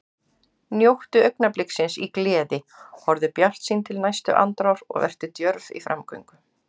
Njóttu augnabliksins í gleði, horfðu bjartsýn til næstu andrár og vertu djörf í framgöngu.